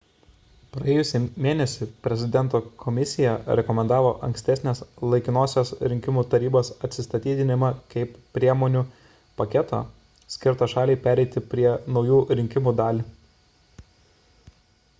praėjusį mėnesį prezidento komisija rekomendavo ankstesnės laikinosios rinkimų tarybos atsistatydinimą kaip priemonių paketo skirto šaliai pereiti prie naujų rinkimų dalį